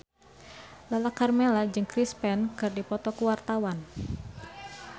Lala Karmela jeung Chris Pane keur dipoto ku wartawan